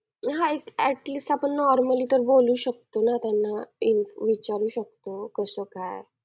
गुरु career Academy साताराया. साताऱ्या मध्ये